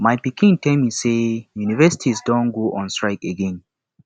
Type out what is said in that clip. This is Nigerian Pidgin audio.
my pikin tell me say universities don go on strike again